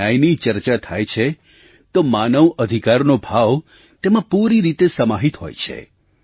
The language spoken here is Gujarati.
જ્યારે ન્યાયની ચર્ચા થાય છે તો માનવ અધિકારનો ભાવ તેમાં પૂરી રીતે સમાહિત હોય છે